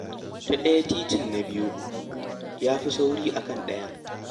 Ta ɗaya titin na biyo, ya fi sauri a kan ɗayan